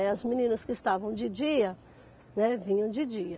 É. As meninas que estavam de dia, né, vinham de dia.